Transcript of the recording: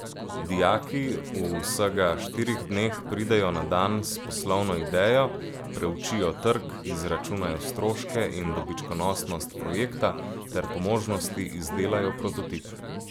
Dijaki v vsega štirih dneh pridejo na dan s poslovno idejo, preučijo trg, izračunajo stroške in dobičkonosnost projekta ter po možnosti izdelajo prototip.